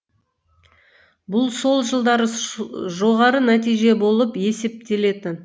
бұл сол жылдары жоғары нәтиже болып есептелетін